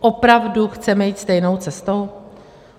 Opravdu chceme jít stejnou cestou?